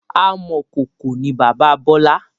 Amọ̀kọkò ni bàbá Bọlá